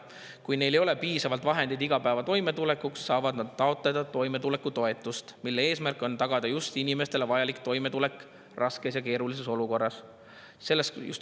Kui neil ei ole piisavalt vahendeid igapäevaseks toimetulekuks, saavad nad taotleda toimetulekutoetust, mille eesmärk on tagada inimestele vajalik toimetulek raskes ja keerulises olukorras.